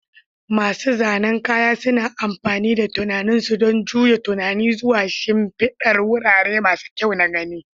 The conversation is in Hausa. Masu zanen kaya suna amfani da tunanin su don juya tunani zuwa shimfidar wurare masu kyau na gani.